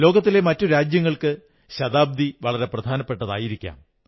ലോകത്തിലെ മറ്റു രാജ്യങ്ങൾക്ക് ശതാബ്ദി വളരെ പ്രധാനപ്പെട്ടതായിരിക്കാം